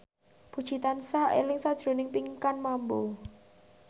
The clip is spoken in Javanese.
Puji tansah eling sakjroning Pinkan Mambo